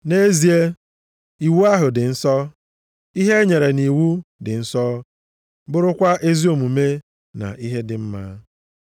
Nʼezie, iwu ahụ dị nsọ, ihe e nyere nʼiwu dị nsọ, bụrụkwa ezi omume na ihe dị mma.